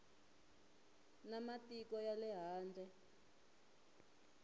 na matiko ya le handle